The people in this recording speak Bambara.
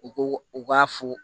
U ko u k'a fo